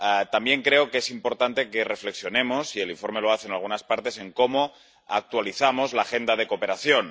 También creo que es importante que reflexionemos —y el informe lo hace en algunas partes— en cómo actualizamos la agenda de cooperación.